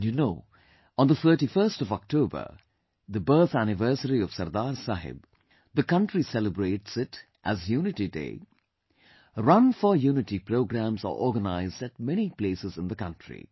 And you know, on the 31st of October, the birth anniversary of Sardar Saheb, the country celebrates it as Unity Day; Run for Unity programs are organized at many places in the country